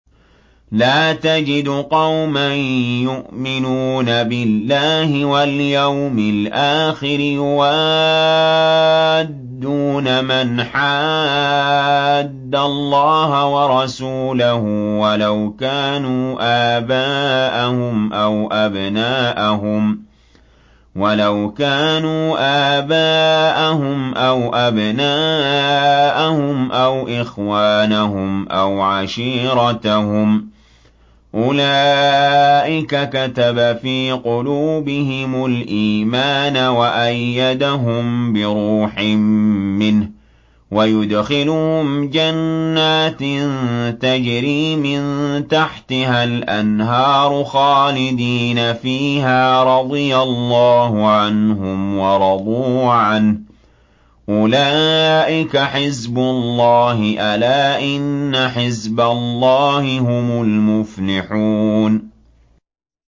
لَّا تَجِدُ قَوْمًا يُؤْمِنُونَ بِاللَّهِ وَالْيَوْمِ الْآخِرِ يُوَادُّونَ مَنْ حَادَّ اللَّهَ وَرَسُولَهُ وَلَوْ كَانُوا آبَاءَهُمْ أَوْ أَبْنَاءَهُمْ أَوْ إِخْوَانَهُمْ أَوْ عَشِيرَتَهُمْ ۚ أُولَٰئِكَ كَتَبَ فِي قُلُوبِهِمُ الْإِيمَانَ وَأَيَّدَهُم بِرُوحٍ مِّنْهُ ۖ وَيُدْخِلُهُمْ جَنَّاتٍ تَجْرِي مِن تَحْتِهَا الْأَنْهَارُ خَالِدِينَ فِيهَا ۚ رَضِيَ اللَّهُ عَنْهُمْ وَرَضُوا عَنْهُ ۚ أُولَٰئِكَ حِزْبُ اللَّهِ ۚ أَلَا إِنَّ حِزْبَ اللَّهِ هُمُ الْمُفْلِحُونَ